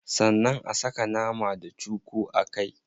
Sannan a saka nama da cuku a kai.